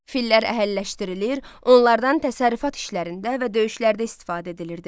Fillər əhəlləşdirilir, onlardan təsərrüfat işlərində və döyüşlərdə istifadə edilirdi.